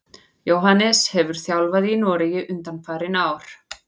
Jóhannes hefur þjálfað í Noregi undanfarin ár.